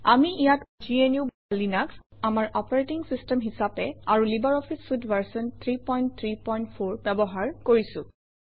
আমি ইয়াত gnuলিনাস আমাৰ অপাৰেটিং চিষ্টেম হিচাপে আৰু লাইব্ৰঅফিছ চুইতে ভাৰ্চন 334 ব্যৱহাৰ কৰিছোঁ